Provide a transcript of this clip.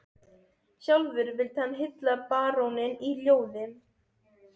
Sjálfur vildi hann hylla baróninn í ljóði